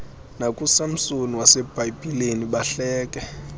nakusamsoni wasebhayibhileni bahleke